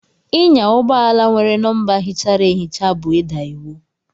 Ịnya ụgbọ ala nwere nọmba híchárá ehicha bú ida iwu.